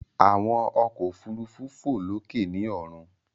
Àwọn ọkọ òfurufú fò lókè ni ọrun.